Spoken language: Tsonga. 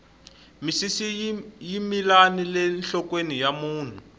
misisi yi mila nile nhlokweni ya munhu